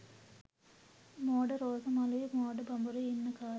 මෝඩ රෝස මලුයි මෝඩ බඹරුයි ඉන්න කල්